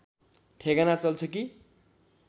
ठेगाना चल्छ कि